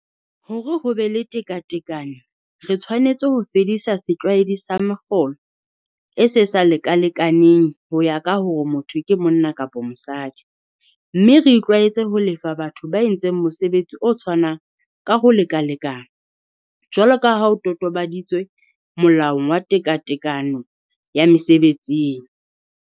Hore ho be le tekatekano re tshwanetse ho fedisa setlwaedi sa mekgolo e e sa lekalekaneng ho ya ka hore motho ke monna kapa mosadi, mme re itlwaetse ho lefa batho ba entseng mosebetsi o tshwanang ka ho lekalekana jwalo ka ho totobaditswe molaong wa tekatekano ya mesebetsing.